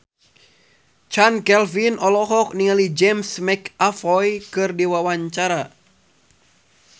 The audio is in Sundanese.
Chand Kelvin olohok ningali James McAvoy keur diwawancara